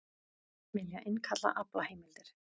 Vilja innkalla aflaheimildir